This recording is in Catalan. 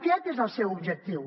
aquest és el seu objectiu